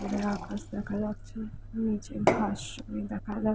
উপরের আকাশ দেখা যাচ্ছে। নিচে ঘাস দেখা যা--